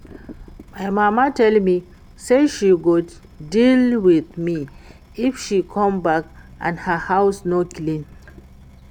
My mama tell me say she go deal with me if she come back and her house no clean